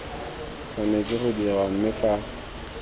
tshwanetse go dirwa mme fa